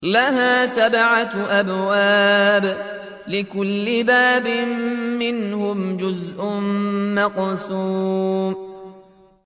لَهَا سَبْعَةُ أَبْوَابٍ لِّكُلِّ بَابٍ مِّنْهُمْ جُزْءٌ مَّقْسُومٌ